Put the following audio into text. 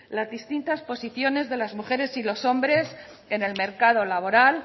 las distintas posiciones de las mujeres y los hombres en el mercado laboral